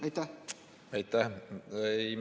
Aitäh!